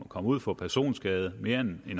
komme ud for personskade mere end